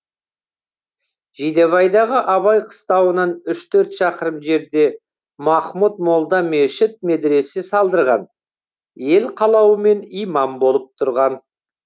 жидебайдағы абай қыстауынан үш төрт шақырым жерде махмұд молда мешіт медресе салдырған ел қалауымен имам болып тұрған